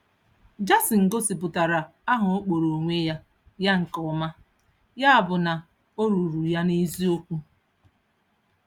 Jason gosipụtara aha ọ kpọrọ onwe ya ya nke ọma, ya bụ na ọ rụụrụ ya n'eziokwu.